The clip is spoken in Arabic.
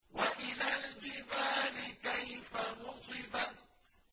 وَإِلَى الْجِبَالِ كَيْفَ نُصِبَتْ